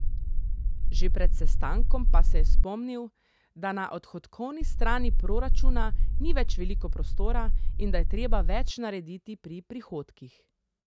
Že pred sestankom pa je spomnil, da na odhodkovni strani proračuna ni več veliko prostora in da je treba več narediti pri prihodkih.